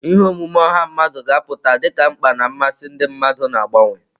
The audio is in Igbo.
Ihe omume ọha mmadụ ga-apụta dị ka mkpa na mmasị ndị mmadụ na-agbanwe.